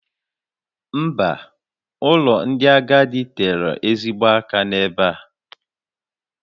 Mba, ụlọ ndị agadi tere ezigbo aka n'ebe a